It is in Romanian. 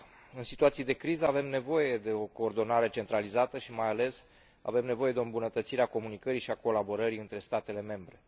În situații de criză avem nevoie de o coordonare centralizată și mai ales, avem nevoie de o îmbunătățire a comunicării și a colaborării între statele membre.